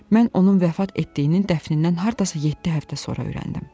Mən onun vəfat etdiyinin dəfnindən hardasa yeddi həftə sonra öyrəndim.